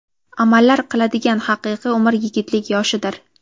Amallar qiladigan haqiqiy umr yigitlik yoshidir.